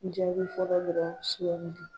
Jaabi fɔlɔ